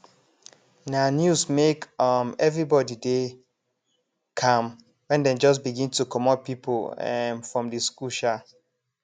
na news make um everybody dey calm wen dem just begin to comot pipo um from di school um